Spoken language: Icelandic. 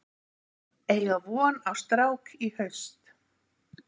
Eiga von á strák í haust